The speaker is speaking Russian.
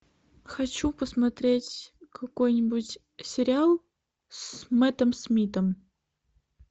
хочу посмотреть какой нибудь сериал с мэттом смитом